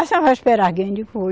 A senhora vai esperar alguém? Digo vou